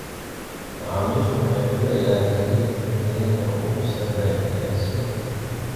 Macaamiishu waxay filayaan hilibka tayada ugu sarreeya ee suuqa.